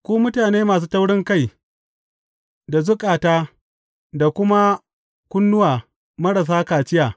Ku mutane masu taurinkai, da zukata da kuma kunnuwa marasa kaciya!